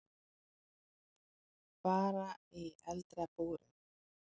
Bara í eldra búri.